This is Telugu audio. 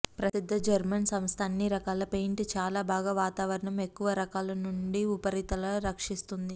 ప్రసిద్ధ జర్మన్ సంస్థ అన్ని రకాల పెయింట్ చాలా బాగా వాతావరణం ఎక్కువ రకాల నుండి ఉపరితల రక్షిస్తుంది